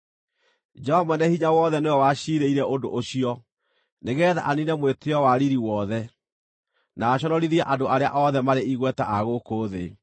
Jehova Mwene-Hinya-Wothe nĩwe waciirĩire ũndũ ũcio, nĩgeetha aniine mwĩtĩĩo wa riiri wothe, na aconorithie andũ arĩa othe marĩ igweta a gũkũ thĩ.